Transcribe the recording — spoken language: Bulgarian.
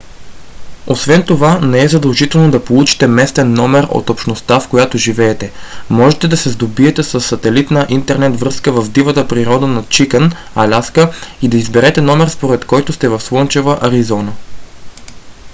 освен това не е задължително да получите местен номер от общността в която живеете; можете да се сдобиете със сателитна интернет връзка в дивата природа на чикън аляска и да изберете номер според който сте в слънчева аризона